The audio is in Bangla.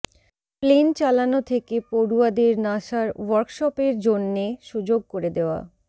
প্লেন চালানো থেকে পডু়য়াদের নাসার ওয়ার্কশপের জন্যে সুযোগ করে দেওয়া